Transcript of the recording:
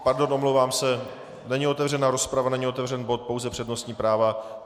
Pardon, omlouvám se, není otevřena rozprava, není otevřen bod, pouze přednostní práva.